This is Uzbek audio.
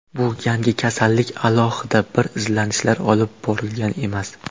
Bu yangi kasallik, alohida bir izlanishlar olib borilgan emas.